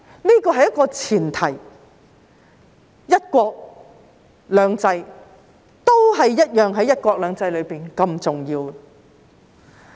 這是一個前提，"一國"與"兩制"在"一國兩制"中同樣重要。